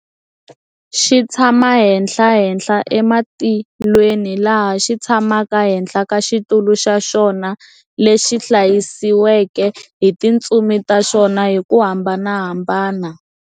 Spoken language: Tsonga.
Xi tshama henhlahenhla ematilweni laha Xi tshamaka henhla ka xitulu xa Xona lexi hlayisiwaka hi tintsumi ta xona hiku hambanahambana.